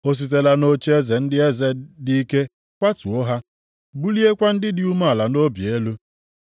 O sitela nʼocheeze ndị eze dị ike kwatuo ha, buliekwa ndị dị umeala nʼobi elu.